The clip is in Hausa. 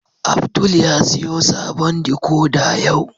Abdul ya siyo sabon "decoder" yau.